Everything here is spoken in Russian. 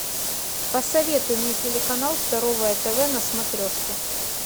посоветуй мне телеканал здоровое тв на смотрешке